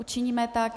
Učiníme tak.